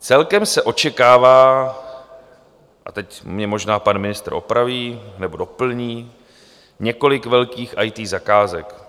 Celkem se očekává, a teď mě možná pan ministr opraví nebo doplní, několik velkých IT zakázek.